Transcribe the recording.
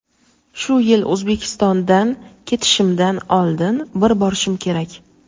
Shu yil O‘zbekistondan ketishimdan oldin bir borishim kerak.